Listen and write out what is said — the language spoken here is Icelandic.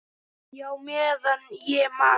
Já, meðan ég man.